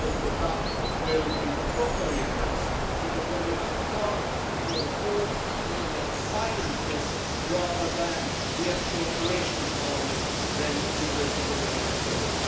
I hope that that will be properly addressed because when we have the cart before the horse, looking at finances rather than the actual operation of Parliament, then we risk running into trouble.